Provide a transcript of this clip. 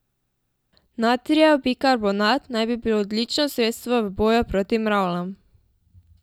Natrijev bikarbonat naj bi bil odlično sredstvo v boju proti mravljam.